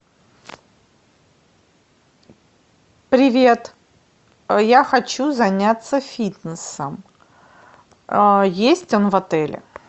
привет я хочу заняться фитнесом есть он в отеле